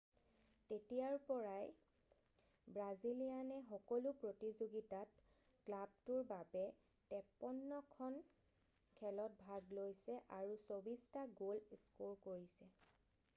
তেতিয়াৰ পৰাই ব্ৰাজিলিয়ানে সকলো প্ৰতিযোগিতাত ক্লাবটোৰ বাবে 53 খন খেলত ভাগ লৈছে আৰু 24 টা গ'ল স্ক'ৰ কৰিছে৷